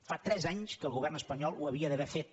fa tres anys que el govern espanyol ho hauria d’haver fet